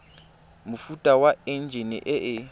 mofuta wa enjine e e